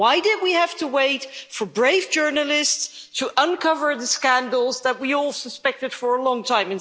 Why did we have to wait for brave journalists to uncover the scandals that we all suspected for a long time?